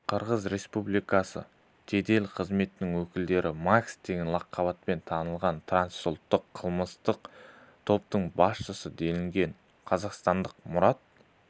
қырғыз республикасы жедел қызметінің өкілдері макс деген лақапатымен танымал трансұлттық қылмыстық топтың басшысы делінген қазақстандық мұрат